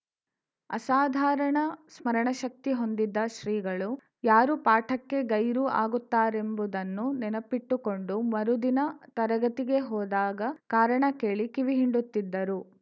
ಅಸಾಧಾರಣ ಸ್ಮರಣಶಕ್ತಿ ಹೊಂದಿದ್ದ ಶ್ರೀಗಳು ಯಾರು ಪಾಠಕ್ಕೆ ಗೈರು ಆಗುತ್ತಾರೆಂಬುದನ್ನು ನೆನಪಿಟ್ಟುಕೊಂಡು ಮರುದಿನ ತರಗತಿಗೆ ಹೋದಾಗ ಕಾರಣ ಕೇಳಿ ಕಿವಿ ಹಿಂಡುತ್ತಿದ್ದರು